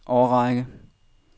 årrække